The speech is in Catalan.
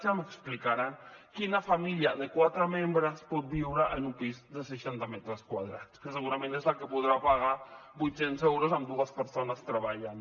ja m’explicaran quina família de quatre membres pot viure en un pis de seixanta metres quadrats que segurament és el que podrà pagar vuit cents euros amb dues persones treballant